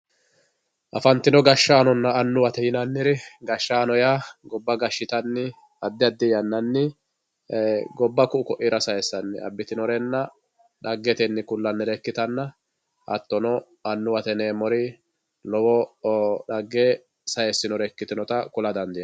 afantino gashshaanonna annuwate yinanniri gashshaano yaa gobba gashshitanni addi addi yannanni gobba ku"u ko"iira sayisanni abitinorenna dhaggetenni kullanire ikkitanna hattono annuwate yineemori lowo dhagge syiisinore ikitinota kula dandiinay.